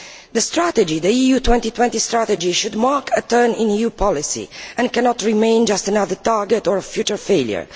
The EU 2020 strategy should mark a turn in EU policy and cannot remain just another target or a future failure.